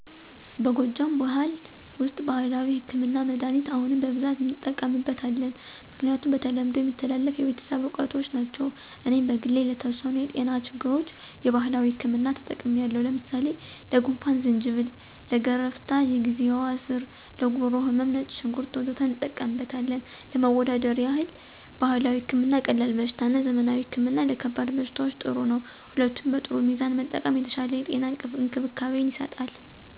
በጎጃም ብኋል ውስጥ ባህላዊ ህክምና(መድኃኒት) አሁንም በብዛት እንጠቀምበት አለን። ምክንያቱም በተለምዶ የሚተላለፍ የቤተሰብ እውቀቶች ናቸው። እኔም በግሌ ለተወሰኑ የጤና ችግሮች የባህላዊ ህክምና ተጠቅሚለው ለምሳሌ፦ ለጉንፍን=ዝንጅብል፣ ለገረፍታ=የግዜዋ ስር፣ ለጉሮሮ ህመም =ነጭ ሽንኩርት... ወዘተ እንጠቀምበታለን። ለማወዳደር ይህል ባህላዊ ህክምና ቀላል በሽታ እና ዘመናዊ ህክምና ለከባድ በሽታዎች ጥሩ ነው። ሁለቱም በጥሩ ሚዛን መጠቀም የተሻለ የጤና እንክብካቤ ይሰጣል።